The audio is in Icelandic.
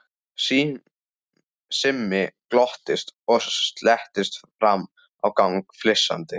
Simmi glotti og slettist fram á gang flissandi.